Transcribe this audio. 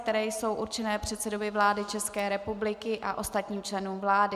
které jsou určeny předsedovi vlády České republiky a ostatním členům vlády.